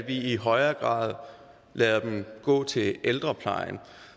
i højere grad lader dem gå til ældreplejen